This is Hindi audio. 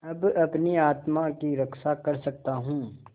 अब अपनी आत्मा की रक्षा कर सकता हूँ